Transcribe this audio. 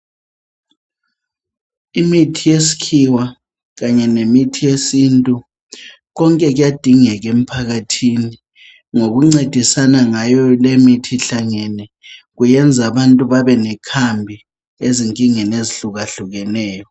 Imithi yesikhiwa kanye lemithi yesintu, konke kuyadingeka emphakathini. Ngokuncedisana ngayolemithi ihlangene kuyenza abantu babe lekhambi azinkingeni ezihlukahlukeneyo